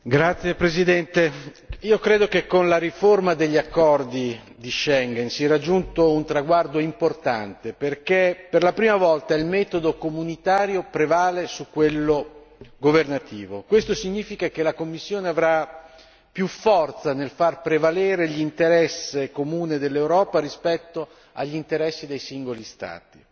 Signor Presidente, onorevoli colleghi, io credo che con la riforma degli accordi di Schengen si è raggiunto un traguardo importante, perché per la prima volta il metodo comunitario prevale su quello governativo questo significa che la Commissione avrà più forza nel far prevalere l'interesse comune dell'Europa rispetto agli interessi dei singoli Stati.